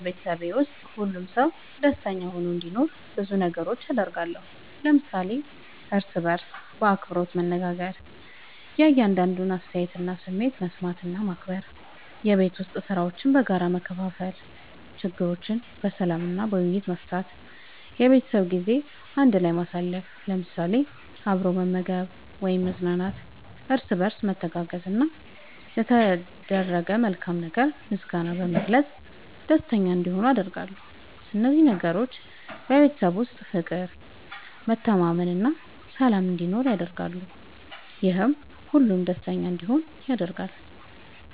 በቤተሰቤ ውስጥ ሁሉም ሰው ደስተኛ ሆኖ እንዲኖር ብዙ ነገሮችን አደርጋለሁ።። ለምሳሌ፦ እርስ በርስ በአክብሮት መነጋገር። የእያንዳንዱን አስተያየትና ስሜት መስማት እና ማክበር፣ የቤት ዉስጥ ሥራዎችን በጋራ መከፋፈል፣ ችግሮችን በሰላም እና በውይይት መፍታት፣ የቤተሰብ ጊዜ በአንድ ላይ ማሳለፍ ለምሳሌ፦ አብሮ መመገብ ወይም መዝናናት፣ እርስ በርስ መተጋገዝ፣ እና ለተደረገ መልካም ነገር ምስጋና በመግለጽ ደስተኛ እንዲሆኑ አደርጋለሁ። እነዚህ ነገሮች በቤተሰብ ውስጥ ፍቅር፣ መተማመን እና ሰላም እንዲኖር ያደርጋሉ፤ ይህም ሁሉም ደስተኛ እንዲሆኑ ያደርጋል።